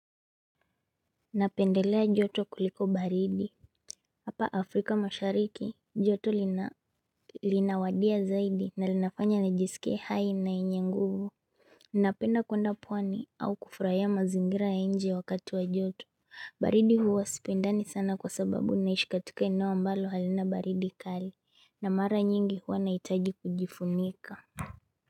Napendelea joto kuliko baridi Hapa Afrika mashariki joto linavutia zaidi na linafanya nijisike hai na yenye nguvu Napenda kwenda pwani au kufurahia mazingira ya nje wakati wa joto baridi huwa siipendi sana kwa sababu naishi katika eneo ambalo halina baridi kali na mara nyingi huwa nahitaji kujifunika.